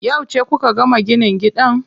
Yauce kuka gama ginin gidan?